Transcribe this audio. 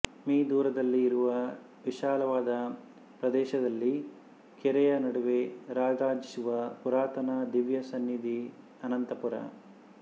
me ದೂರದಲ್ಲಿ ಇರುವ ವಿಶಾಲವಾದ ಪ್ರದೇಶದಲ್ಲಿ ಕೆರೆಯ ನಡುವೆ ರಾರಾಜಿಸುವ ಪುರಾತನ ದಿವ್ಯ ಸನ್ನಿಧಿ ಅನಂತಪುರ